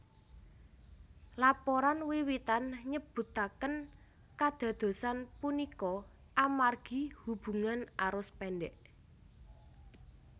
Laporan wiwitan nyebutaken kadadosan punika amargi hubungan arus pendek